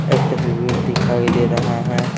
एक तस्वीर दिखाई दे रहा हैं।